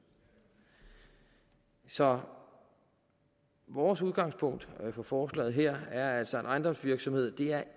så vores udgangspunkt for forslaget her er altså en ejendomsvirksomhed det er